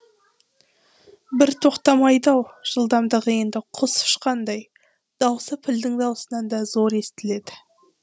бір тоқтамайды ау жылдамдығы енді құс ұшқандай дауысы пілдің дауысынан да зор естіледі